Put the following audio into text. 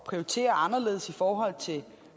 prioritere anderledes i forhold til